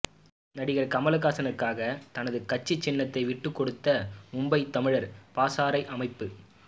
நடிகர் கமல்ஹாசனுக்காக தனது கட்சி சின்னத்தை விட்டுக்கொடுத்த மும்பை தமிழர் பாசறை அமைப்பு